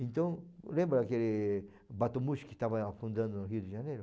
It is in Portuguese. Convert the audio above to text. Então, lembra aquele bateau mouche que estava afundando no Rio de Janeiro?